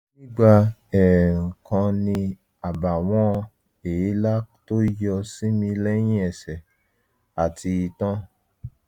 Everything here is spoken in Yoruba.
nígbà ẹ̀ẹ̀rùn kan mo ní àbàwọ́n èélá tó yọ sí mi lẹ̀yìn ẹsẹ̀ àti itan